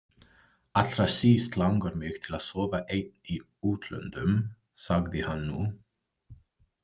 Allra síst langar mig til að sofa einn í útlöndum, sagði hann nú.